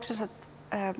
sem sagt